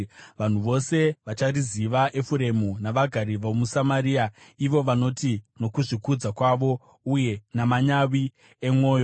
Vanhu vose vachariziva, Efuremu navagari vomuSamaria, ivo vanoti nokuzvikudza kwavo uye namanyawi emwoyo,